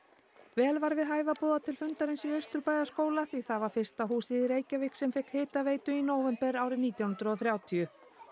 vel var við hæfi að boða til fundarins í Austurbæjarskóla því það var fyrsta húsið í Reykjavík sem fékk hitaveitu í nóvember árið nítján hundruð og þrjátíu